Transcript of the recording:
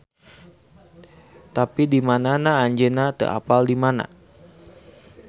Tapi dimanana anjeunna teu apal dimana.